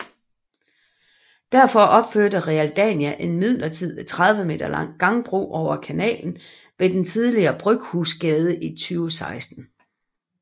Derfor opførte Realdania en midlertidig 30 m lang gangbro over kanalen ved den tidligere Bryghusgade i 2016